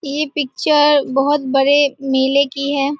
ये पिक्चर बहुत बड़े मेले की हैं।